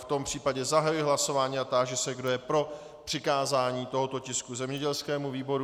V tom případě zahajuji hlasování a táži se, kdo je pro přikázání tohoto tisku zemědělskému výboru.